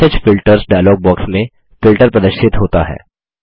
message filters dialog box में filter प्रदर्शित होता है